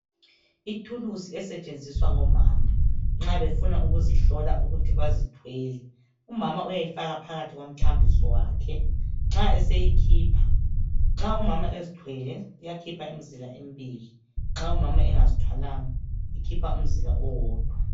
Ithulusi esetshenziswa ngomama nxa befuna ukuzihlola ukuthi bazithwele. Umama uyayifaka phakathi komthambiso wakhe. Nxa eseyikhipha, nxa umama ezthwele iyakhipha imzila embili, nxa umama engazithwalanga, ukhipha umzila owodwa.